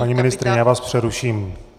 Paní ministryně, já vás přeruším.